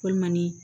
Walima ni